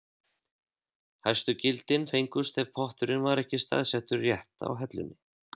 Hæstu gildin fengust ef potturinn var ekki staðsettur rétt á hellunni.